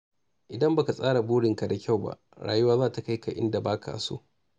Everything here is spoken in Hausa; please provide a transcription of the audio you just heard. Idan ba ka tsara burinka da kyau ba, rayuwa za ta kai ka inda ba ka so.